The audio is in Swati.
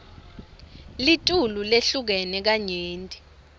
litulu lehlukene kanyenti